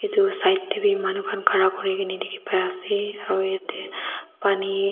etu side te bhi manu khan khara kori kena asa aru yadte pani.